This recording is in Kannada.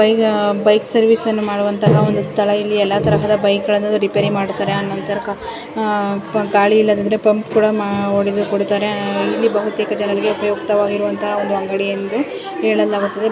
ಈಗ ಬೈಕ್ ಸರ್ವಿಸ್ ಅನ್ನು ಮಾಡುವಂತ ಇಲ್ಲಿ ಎಲ್ಲಾ ತರಹದ ಬೈಕ್ ರಿಪೇರಿ ಮಾಡುತ್ತಾರೆ ಆನಂತರ ಗಾಳಿ ಇಲ್ಲದಿದ್ದರೆ ಪಂಪ್ ಹೊಡೆದುಕೊಳ್ಳುತ್ತಾರೆ ಇಲ್ಲಿ ಬಹುತೇಕ ಜನರಿಗೆ ಉಪಯುಕ್ತವಾಗಿರುವಂತಹ ಅಂಗಡಿ ಎಂದು ಹೇಳಲಾಗುತ್ತದೆ.